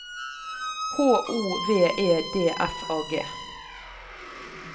H O V E D F A G